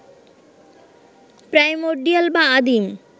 primordial বা আদিম